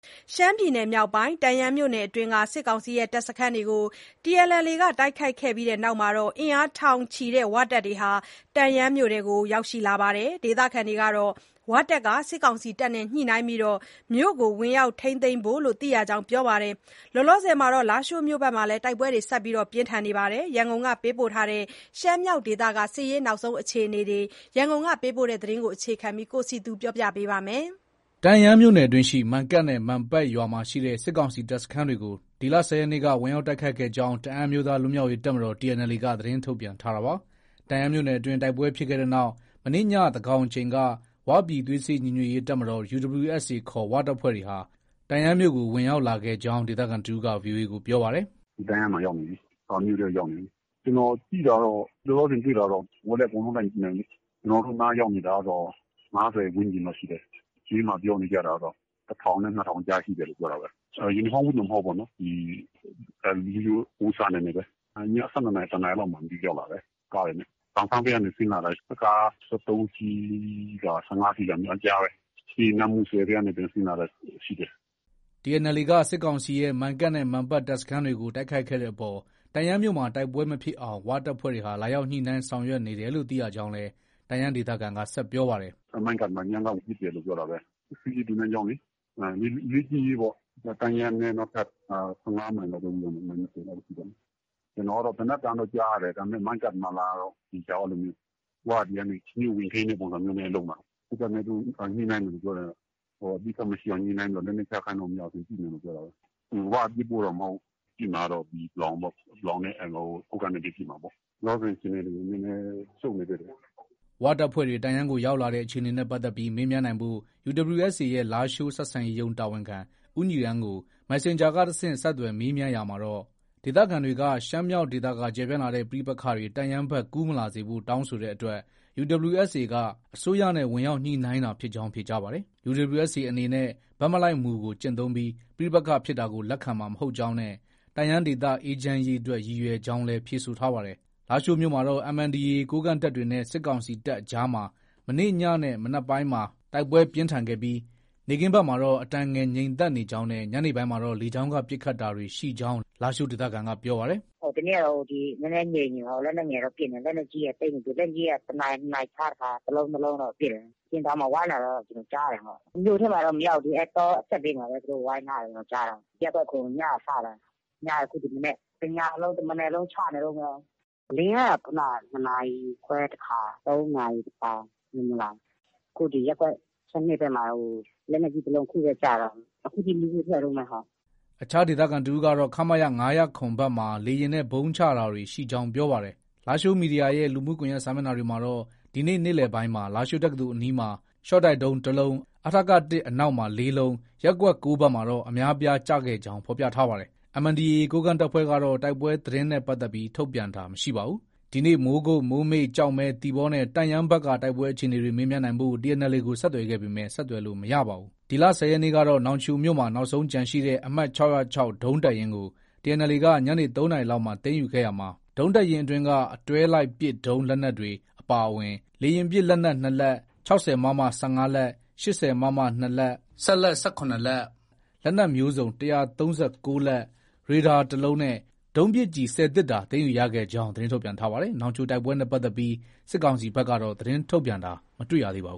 ရှမ်းပြည်နယ်မြောက်ပိုင်း တန့်ယန်းမြို့နယ်အတွင်းက စစ်ကောင်စီရဲ့ တပ်စခန်းတွေကို TNLA က တိုက်ခိုက်ခဲ့ပြီးတဲ့နောက် အင်အားထောင်ချီတဲ့ ဝတပ်တွေဟာ တန့်ယန်းမြို့ကို ရောက်ရှိလာပါတယ်။ ဒေသခံတွေကတော့ ဝတပ်က စစ်တပ်နဲ့ ညှိနှိုင်းပြီး မြို့ကို ဝင်ရောက်ထိန်းသိမ်းဖို့လို့ သိရကြောင်း ပြောပါတယ်။ လောလောဆယ် လားရှိုးမြို့မှာလည်း တိုက်ပွဲတွေ ဆက်လက်ဖြစ်ပွားနေပါတယ်။ ရန်ကုန်က ပေးပို့လာတဲ့ ရှမ်းမြောက်ဒေသက နောက်ဆုံးရသတင်းတွေကို တင်ပြထားပါတယ်။ တန့်ယန်းမြို့နယ်အတွင်းရှိ မန်ကတ်နဲ့ မန်ပတ်ရွာရှိ စစ်ကောင်စီတပ်စခန်းတွေကို ဒီလ ၁၀ရက်နေ့က ဝင်ရောက် တိုက်ခိုက်ခဲ့ကြောင်း တအန်းအမျိုးသားလွတ်မြောက်ရေးတပ်မတော် TNLA က သတင်းထုတ်ပြန်ထားတာပါ။ တန့်ယန်းမြို့နယ်အတွင်း တိုက်ပွဲဖြစ်ခဲ့တဲ့နောက် မနေ့ည သန်းခေါင်အချိန်က ဝပြည်သွေးစည်းညီညွတ်ရေး တပ်မတော် UWSAခေါ် "ဝ"တပ်ဖွဲ့တွေဟာ တန်ယန်းမြို့ကို ဝင်ရောက်လာခဲ့ကြောင်း ဒေသခံတဦးက VOA ကို ပြောပါတယ်။ “ တန့်ယန်းမှာ ရောက်နေပြီ။ မြို့ထဲမှာ ရောက်နေပြီ။ ကျနော်ကြည့်တာကတော့ လောလောဆယ်တွေ့တာတော့ ကိုယ်ကလည်း အကုန်လုံး လိုက်မကြည့်နိုင်ဘူးလေ။ ကျနော်တို့နားရောက်နေတာကတော့ ၅၀ ဝန်းကျင်လောက်ရှိတယ်။ ဈေးမှာ ပြောနေကြတာကတော့ အင်အား ၁၀၀၀ နဲ့ ၂၀၀၀ ကြားရှိတယ်လို့ ပြောတာပဲ။ ယူနီဖောင်းဝတ်တွေနဲ့ မဟုတ်ဘူးပေါ့နော်။ ရိုးရိုးအဝတ်အစားတွေနဲ့ပဲ။ ည ၁၂နာရီ ၊ တနာရီလောက်မှာလား မသိဘူး ရောက်လာတယ်။ ကားတွေနဲ့ ပန်ဆန်းဘက်ကနေ ဆင်းလာတာ ကား ၁၃ စီးလား၊ ၁၅ စီးလား အဲဒီကြားပဲ။ ပြီးရင် နမ့်မူဆယ်ဘက်ကနေ ပြန်ဆင်းလာတာရှိတယ်။ ” TNLA က စစ်ကောင်စီရဲ့ မန်ကတ်နဲ့ မန်ပတ် တပ်စခန်းတွေကို တိုက်ခိုက်ခဲ့တဲ့အပေါ် တန့်ယန်းမြို့မှာ တိုက်ပွဲမဖြစ်အောင် ဝတပ်ဖွဲ့တွေဟာ လာရောက်ညှိနှိုင်းဆောင်ရွက်နေတယ်လို့ သိရကြောင်းလည်း တန့်ယန်းဒေသခံက ဆက်ပြောပါတယ်။ “ မန်ကတ်မှာ ညက ဝင်ပစ်တယ်လို့ ပြောတာပဲ။ စစ်ရေးသင်တန်းကျောင်းလေ။ လေ့ကျင့်ရေးပေါ့။ တန့်ယန်းနဲ့ နောက်ထပ် ၁၅မိုင်လောက်ပဲ ရှိတော့မယ်။ မိုင် ၂၀လောက်ပေါ့။ ကျနော်ကတော့ သေနတ်သံတော့ ကြားရတယ်။ ဒါပေမဲ့ မန်ကတ်မှာလားတော့ မသေချာဘူး။ ဝက ဒီကနေ မြို့ကို ဝင်ထိန်းတဲ့ ပုံစံမျိုးနဲ့ လုပ်မှာ။ စစ်တပ်နဲ့ သူတို့ ညှိနှိုင်းနေတယ်လို့ ပြောတယ်။ အပစ်အခတ်မရှိအောင် ညှိနှိုင်းပြီးတော့ လက်နက်ချခိုင်းလို့ မရရင် ပစ်မယ်လို့တော့ ပြောတာပဲ။ ဝက ပစ်ဖို့တော့မဟုတ်ဘူး။ ပစ်မှာကတော့ ပလောင်ပေါ့။ ပလောင်နဲ့ ကိုးကန့်နဲ့ပဲ ရှိမှာပေါ့။ လောလောဆယ်အခြေအနေတွေ နည်းနည်းရှုပ်နေသေးတယ်။” ဝတပ်ဖွဲ့တွေ တန့်ယန်းကို ရောက်လာတဲ့အခြေအနေနဲ့ပတ်သက်ပြီး မေးမြန်းနိုင်ဖို့ UWSA ရဲ့ လားရှိုး ဆက်ဆံရေးရုံး တာဝန်ခံ ဦးညီရန်းကို Messenger ကနေ တဆင့် ဆက်သွယ်မေးမြန်းရာမှာတော့ ဒေသခံတွေက ရှမ်းမြောက်ဒေသက ကျယ်ပြန်လာတဲ့ ပဋိပက္ခတွေ တန့်ယန်းဘက် ကူးမလာစေဖို့ တောင်းဆိုတဲ့အတွက် UWSA က အစိုးရနဲ့ ဝင်ရောက်ညှိနှိုင်းတာဖြစ်ကြောင်း ဖြေကြားပါတယ်။ UWSA အနေနဲ့ ဘက်မလိုက်မူကို ကျင့်သုံးပြီး ပဋိပက္ခဖြစ်တာကို လက်ခံမှာမဟုတ်ကြောင်းနဲ့ တန့်ယန်းဒေသအေးချမ်းရေးအတွက် ရည်ရွယ်ကြောင်းလည်း ဖြေဆိုထားပါတယ်။ လားရှိုးမြို့မှာတော့ MNDAA ကိုးကန့်တပ်တွေနဲ့ စစ်ကောင်စီတပ်အကြားမှာ မနေ့ညနဲ့ မနက်ပိုင်းမှာ တိုက်ပွဲပြင်းထန်ခဲ့ပြီး နေ့ခင်းဘက်မှာတော့ အတန်ငယ် ငြိမ်သက်နေကြောင်းနဲ့ ညနေပိုင်းမှာတော့ လေကြောင်းက ပစ်ခတ်တာတွေ ရှိကြောင်း လားရှိုးဒေသခံက ပြောပါတယ်။ “ဒီနေ့ကတော့ နည်းနည်းငြိမ်နေတယ်။ လက်နက်ငယ်တော့ ပစ်နေတယ်။ လက်နက်ကြီးကသိပ်မပစ်ဘူး။ လက်နက်ကြီးတွေက တနာရီ၊ နှစ်နာရီခြားတခါ တလုံး ၂လုံးတော့ ပစ်တယ်။ ဆင်တောင်မှာ ဝိုင်းတာတော့ ကျနော်ကြားတယ်။ မြို့ထဲမှာတော့ မရောက်သေးဘူး။ တောအစပ်မှာပဲ သူတို့ဝိုင်းထားတယ်လို့ ကျနော် ကြားတာ။ ရပ်ကွက် ၇ ညက စတာ။ ညကနေ ဒီမနက် ။ တညလုံး တမနက်လုံး ချနေတုံးပဲ။ လေယာဉ်က ခုနက ၂နာရီခွဲတခါ။ ၃နာရီ တခါ အဲလိုမျိုးလာတယ်။ အခု ဒီ ရပ်ကွက် ၁၂ဘက်မှာ လက်နက်ကြီးတလုံး အခုပဲ ကျတာ။ အခုထိ မီးခိုးထွက်တုံးပဲ။ ” အခြားဒေသခံတဦးကတော့ ခမရ ၅၀၇ ဘက်မှာ လေယာဉ်နဲ့ ဗုံးချတာတွေရှိကြောင်းပြောပါတယ်။ လားရှိုးမီဒီယာရဲ့ လူမှုကွန်ရက်စာမျက်နှာတွေမှာတော့ ဒီနေ့ နေ့လည်ပိုင်းမှာ လားရှိုးတက္ကသိုလ်အနီးမှာ ရှော့တိုက်ဒုံး တလုံး၊ အထက ၁ အနောက်မှာ ၄လုံး၊ ရပ်ကွက် ၉ဘက်မှာတော့ အများအပြားကျခဲ့ကြောင်း ဖော်ပြထားပါတယ်။ MNDAA ကိုးကန့်တပ်ဖွဲ့ကတော့ တိုက်ပွဲသတင်းနဲ့ပတ်သက်ပြီး ထုတ်ပြန်တာမရှိပါဘူး။ ဒီနေ့ မိုးကုတ်၊ မိုးမိတ်၊ ကျောက်မဲ၊ သီပေါနဲ့ တန့်ယန်းဘက်က တိုက်ပွဲအခြေအနေတွေ မေးမြန်းနိုင်ဖို့ TNLA ကို ဆက်သွယ်ခဲ့ပေမဲ့ ဆက်သွယ်လို့ မရခဲ့ပါဘူး။ ဒီလ ၁၀ရက်နေ့ကတော့ နောင်ချိုမြို့မှာ နောက်ဆုံးကျန်ရှိတဲ့ အမှတ် ၆၀၆ ဒုံးတပ်ရင်းကို TNLA က ညနေ ၃နာရီလောက်မှာ သိမ်းယူခဲ့ရှာမှာ ဒုံးတပ်ရင်းအတွင်းက အတွဲလိုက်ပစ်ဒုံးလက်နက်တွေ အပါအဝင်လေယာဉ်ပစ် လက်နက် ၂လက်၊ ၆၀ မမ၁၅လက်၊ ၈၀မမ ၂လက်၊ စက်လတ် ၁၇လက်၊ လက်နက်မျိုးစုံ ၁၃၉လက်၊ ရေဒါတလုံးနဲ့ ဒုံးပစ်ကျည် ၁၀သေတ္တာ သိမ်းယူရခဲ့ကြောင်း သတင်းထုတ်ပြန်ထားပါတယ်။ နောင်ချိုတိုက်ပွဲနဲ့ပတ်သက်ပြီး စစ်ကောင်စီဘက်ကတော့ သတင်းထုတ်ပြန်တာ မတွေ့ပါဘူ